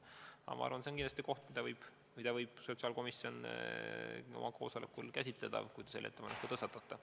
Aga ma arvan, et see on kindlasti teema, mida võib sotsiaalkomisjon oma koosolekul käsitleda, kui te selle ettepaneku teete.